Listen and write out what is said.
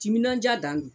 Timinandiya dan do